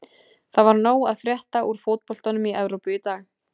Það var nóg að frétta úr fótboltanum í Evrópu í dag.